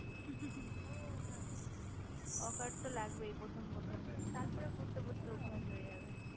হু হু হু accurate তো লাগবেই প্রথম প্রথম তারপর পড়তে পড়তে অভ্যাস হয়ে যাবে